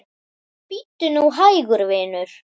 Bíddu nú hægur, vinur.